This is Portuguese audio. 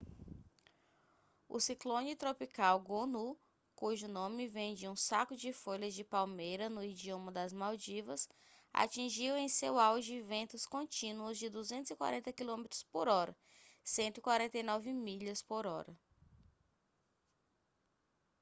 o ciclone tropical gonu cujo nome vem de um saco de folhas de palmeira no idioma das maldivas atingiu em seu auge ventos contínuos de 240 quilômetros por hora 149 milhas por hora